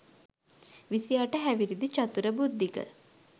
විසි අට හැවිරිදි චතුර බුද්ධික.